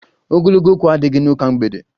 Ogologo okwu adighi n'ụka mgbede